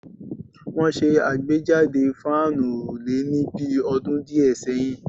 Wọ́n ṣe àgbéjáde fáànù òrùlé ní bi ọdún díẹ̀ sẹ́yìn